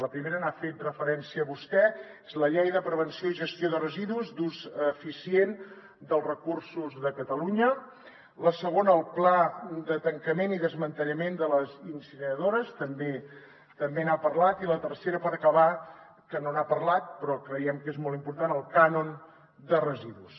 la primera n’ha fet referència vostè és la llei de prevenció i gestió de residus d’ús eficient dels recursos de catalunya la segona el pla de tancament i desmantellament de les incineradores també n’ha parlat i la tercera per acabar que no n’ha parlat però creiem que és molt important el cànon de residus